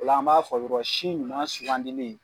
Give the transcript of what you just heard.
O la an b'a fɔ yɔrɔ si ɲuman si ɲuman sugandili